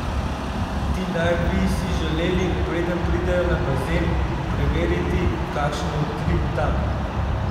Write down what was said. Ti naj bi si želeli, preden pridejo na bazen, preveriti, kakšen je utrip tam.